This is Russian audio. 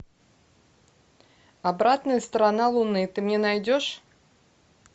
обратная сторона луны ты мне найдешь